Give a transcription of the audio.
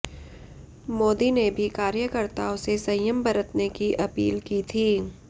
मोदी ने भी कार्यकर्ताओं से संयम बरतने की अपील की थी